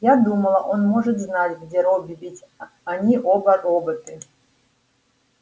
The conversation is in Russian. я думала он может знать где робби ведь они оба роботы